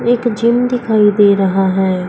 एक जिम दिखाई दे रहा है।